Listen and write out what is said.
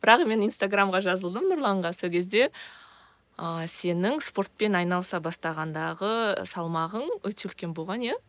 бірақ мен инстаграмға жазылдым нұрланға сол кезде ы сенің спортпен айналыса бастағандағы салмағың өте үлкен болған иә